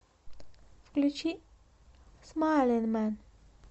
включи смайлинмэн